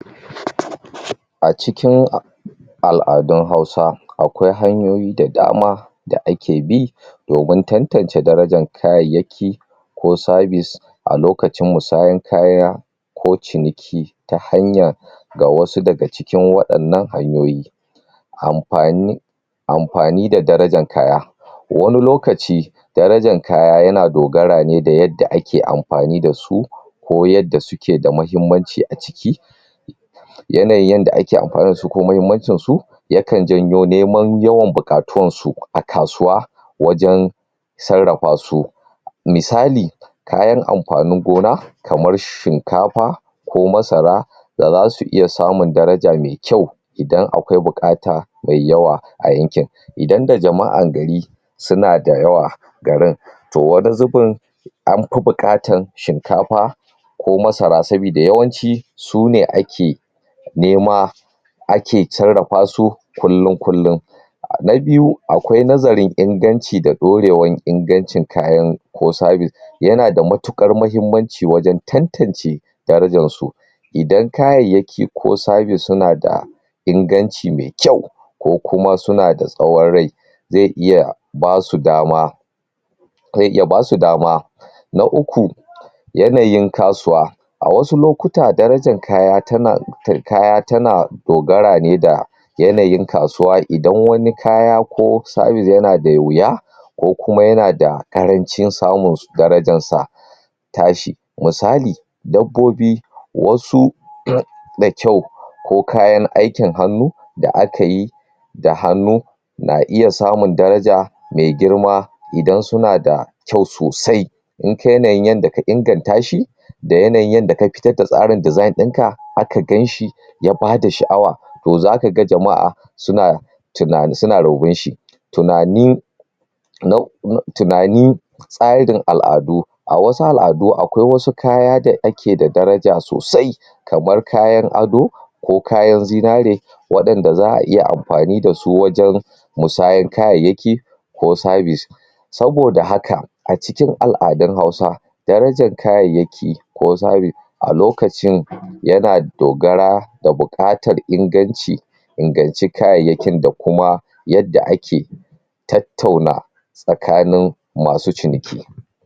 A cikin al'addun hausa, akwai hanyoyi da dama da ake bi domin tanttance darajan kayyayaki ko sabis a lokacin masahan kaya ko cineki ta hanyar ga wasu daga cikin wadannan hanyoyi. amfani amfani da darajan kaya. Wane lokaci, Darajan kaya yana dogara ne da yadda ake amfani da su, ko yadda suke da mahimmanci a ciki, yanayin yadda ake amfani da su ko mahimmancin su yakan janyo neman yawan bukatuwan su a kasuwa wajen tsarrafa su misali, kayan amfanin gona, kamar shinkafa, ko masara da za su iya samun daraja me kyau idan akwai bukata me yawa a yanken. Idan da jama'an gari suna da yawa, garin toh an shinkafa ko masara sabidi yawanci sune ake nema ake tsarrafa su, kulum-kullum Na biyu, akwai nazaren inganci da dourewan ingancin kayan ko sabis yana da matukar mahimmanci wajen tantance darajan su Idan kayayaki ko sabis suna da inganci me kayu, ko kuma suna da tsowon rai ze iya basu dama ze iya basu dama. Na uku, yanayin kasuwa a wasu lokuta, darajan kaya tana dogara ne da yanayin kasuwa idan wane kaya ko sabis yana da wuya, ko kuma yana da karancin samun su, darajan sa tashi, misal, dabbobi wasu irin da kyau ko kayan aikin hanu da aka yi da hanu na iya samun darja me girma idan suna da kyau sosai in kai ne da ka inganta shi da yanayin da ka fitar da tsarin design din ka aka gan shi, ya bada sha'awa toh zaka ga jama'a suna suna shi tunani tunani tsaradin al'addu a wasu al'addu akwai wasu kaya da ake da daraja sosai, kaman kayar ado, ko kayan zinare wadanda za'a iya amfani da su wajen musahar kayayaki ko sabis. Saboda haka, a cikin al'addun hausa, darajan kayayaki ko sabis a lokacin, yana dogara da bukatar inganci inganci kayyayakin da kuma yadda ake tattauna